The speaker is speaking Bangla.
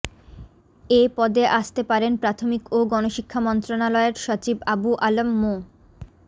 এ পদে আসতে পারেন প্রাথমিক ও গণশিক্ষা মন্ত্রণালয়ের সচিব আবু আলম মো